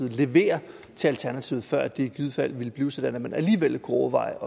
levere til alternativet før det i givet fald ville blive sådan at man alligevel kunne overveje